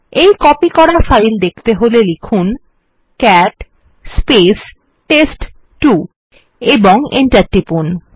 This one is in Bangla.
এই কপি করা ফাইল দেখতে হলে লিখুন ক্যাট টেস্ট2 ও এন্টার টিপুন